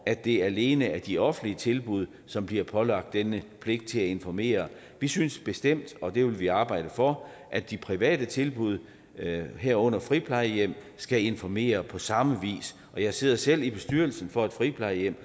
at det alene er de offentlige tilbud som bliver pålagt denne pligt til at informere vi synes bestemt og det vil vi arbejde for at de private tilbud herunder friplejehjem skal informere på samme vis jeg sidder selv i bestyrelsen for et friplejehjem